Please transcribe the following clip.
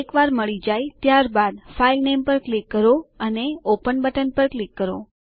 એકવાર મળી જાય ત્યાર બાદ ફાઇલનેમ પર ક્લિક કરો અને ઓપન બટન પર ક્લિક કરો